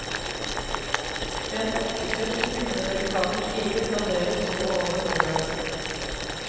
Rent oksekjøtt i tynne delikate skiver danderes så over brødet.